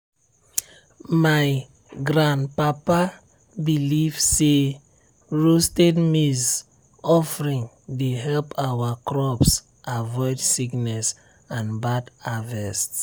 my grandpapa believe say roasted maize offering dey help our crops avoid sickness and bad harvest.